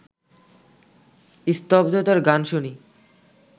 স্তব্ধতার গান শুনি